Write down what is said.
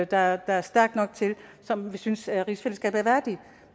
der er stærkt nok og som vi synes er rigsfællesskabet værdigt